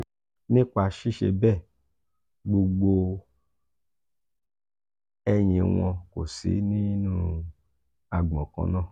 nipa ṣiṣe bẹẹ gbogbo ẹyin wọn ko si ninu agbọn kan na.